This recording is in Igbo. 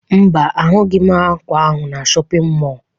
Mba, ahụghị m ákwà ahụ na shọpịn mọọ